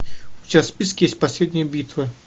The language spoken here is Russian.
у тебя в списке есть последняя битва